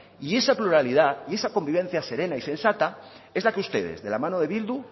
y esa pluralidad y esa convivencia serena y sensata es la que ustedes de la mano de bildu